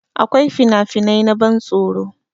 Akwai finafinai na ban tsoro